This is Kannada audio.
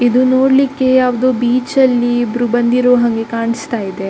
ಇದು ನೋಡ್ಲಿಕ್ಕೆ ಯಾವುದೊ ಬೀಚ್ ಲ್ಲಿ ಇಬ್ಬರು ಬಂದಿರೋ ಹಾಗೆ ಕಾಣಿಸ್ತಾ ಇದೆ.